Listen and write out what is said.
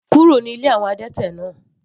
Kúrò ní ilé àwọn adẹ́tẹ̀ náà.